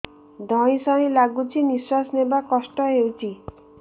ଧଇଁ ସଇଁ ଲାଗୁଛି ନିଃଶ୍ୱାସ ନବା କଷ୍ଟ ହଉଚି